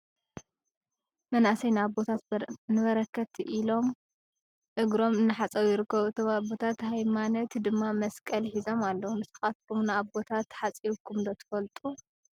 መናኣሰይ ንኣቦታት ንበረከት ኢል ኢሎም እግሮም እናሓፀቡ ይርከቡ ። እቶም ኣቦታት ሃይማነት ድማ መስቀል ሒዙም ኣለው ። ንስካትኩም ንኣቦታት ሓፂብኩም ትፈልጡ ዶ ?